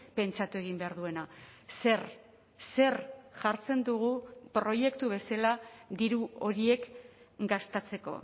pentsatu egin behar duena zer zer jartzen dugu proiektu bezala diru horiek gastatzeko